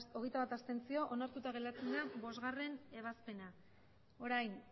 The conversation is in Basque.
berrogeita hamalau abstentzioak hogeita bat onartuta geratzen da bostgarrena ebazpena orain